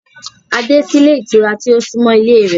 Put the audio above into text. A dé sí ilé ìtura tí ó súnmọ́ ilé e rẹ̀